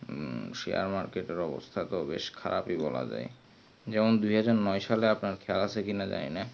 হম share market এর অবস্থা তো অনেকেই খারাপ বলা যায় যেমন দুই হাজার নয় সালে আপনার খেয়াল আছে কি না জানিনা